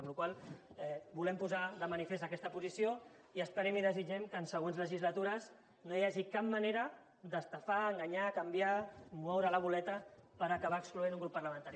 amb la qual cosa volem posar de manifest aquesta posició i esperem i desitgem que en següents legislatures no hi hagi cap manera d’estafar enganyar canviar moure la boleta per acabar excloent un grup parlamentari